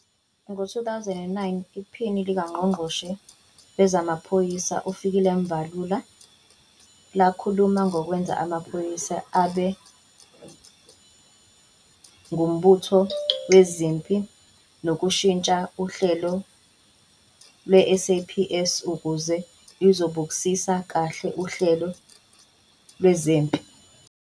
Ngo-2009, iPhini likaNgqongqoshe wezamaPhoyisa uFikile Mbalula lakhuluma ngokwenza amaphoyisa abe ngumbutho wezempi ngokushintsha uhlelo lweSAPS ukuze luzobukisisa kahle uhlelo lwezempi.